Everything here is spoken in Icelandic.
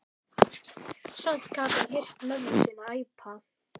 Samt gat hann heyrt mömmu sína æpa.